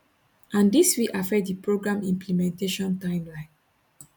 and dis fit affect di program implementation timeline